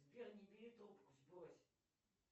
сбер не бери трубку сбрось